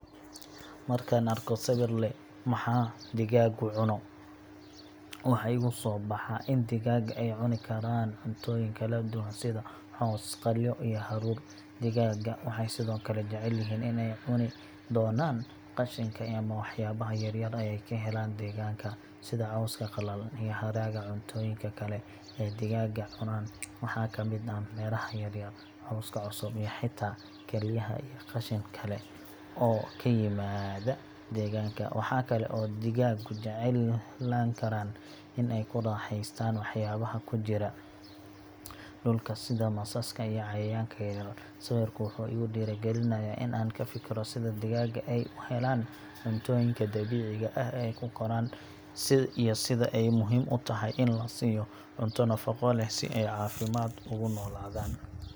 Marka aan arko sawir leh Maxaa digaaggu cuno, waxa igu soo baxa in digaagga ay cuni karaan cuntooyin kala duwan sida caws, qalyo, iyo hadhuudh. Digaagga waxay sidoo kale jecel yihiin in ay cuni doonaan qashinka ama waxyaabaha yaryar ee ay ka helaan deegaanka, sida cawska qallalan iyo haraga. Cuntooyinka kale ee digaagga cunaan waxaa ka mid ah miraha yaryar, cawska cusub, iyo xitaa kelyaha iyo qashin kale oo ka yimaada deegaanka. Waxaa kale oo digaaggu jeclaan karaa in ay ku raaxaystaan waxyaabaha ku jira dhulka sida masaska iyo cayayaanka yaryar. Sawirku wuxuu igu dhiirigelinayaa in aan ka fikiro sida digaagga ay u helaan cuntooyinka dabiiciga ah ee ay ku koraan iyo sida ay muhiim u tahay in la siiyo cunto nafaqo leh si ay caafimaad ugu noolaadaan.